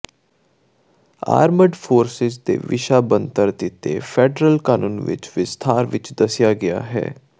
armed forces ਦੇ ਵਿਸ਼ਾ ਬਣਤਰ ਦਿੱਤੇ ਫੈਡਰਲ ਕਾਨੂੰਨ ਵਿਚ ਵਿਸਥਾਰ ਵਿੱਚ ਦੱਸਿਆ ਗਿਆ ਹੈ